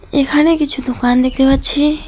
এখানে কিছু দোকান দেখতে পাচ্ছি।